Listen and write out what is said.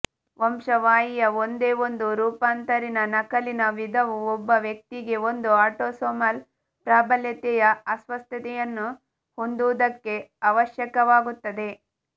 ವಂಶವಾಹಿಯ ಒಂದೇ ಒಂದು ರೂಪಾಂತರಿತ ನಕಲಿನ ವಿಧವು ಒಬ್ಬ ವ್ಯಕ್ತಿಗೆ ಒಂದು ಆಟೋಸೋಮಲ್ ಪ್ರಾಬಲ್ಯತೆಯ ಅಸ್ವಸ್ಥತೆಯನ್ನು ಹೊಂದುವುದಕ್ಕೆ ಅವಶ್ಯಕವಾಗುತ್ತದೆ